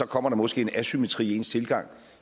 kommer der måske en asymmetri i ens tilgang